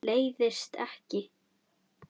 Leiðist ekki.